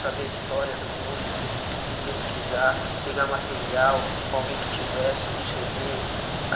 Saber a história do músico e pesquisar, pegar material, com alguém que tivesse um cê dê.